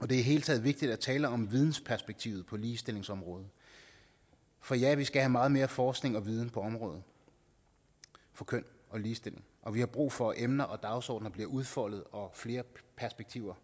det hele taget vigtigt at tale om vidensperspektivet på ligestillingsområdet for ja vi skal have meget mere forskning og viden på området for køn og ligestilling og vi har brug for at emner og dagsordener bliver udfoldet og at flere perspektiver